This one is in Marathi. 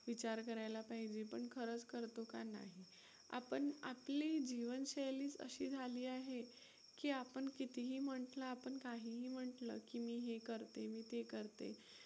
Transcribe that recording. विचार करायला पाहिजे पण खरंच करतो का नाही. आपण आपले जीवनशैलीच अशी झाली आहे की आपण कितीही म्हंटलं, आपण काहीही म्हंटलं की मी हे करते, मी ते करते.